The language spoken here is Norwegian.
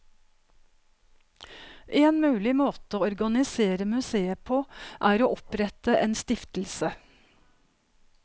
En mulig måte å organisere museet på er å opprette en stiftelse.